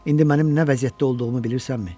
İndi mənim nə vəziyyətdə olduğumu bilirsənmi?